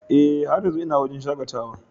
Ee, har yanzu ina wurin shakatawa.